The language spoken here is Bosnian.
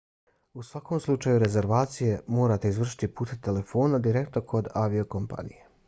u svakom slučaju rezervaciju morate izvršiti putem telefona direktno kod aviokompanije